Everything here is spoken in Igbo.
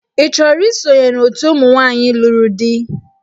Ị chọrọ isonye na òtù ụmụ nwaanyị lụrụ di?